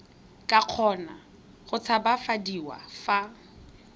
ka kgona go tshabafadiwa fa